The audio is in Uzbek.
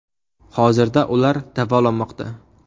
Hozirda ular davolanmoqda.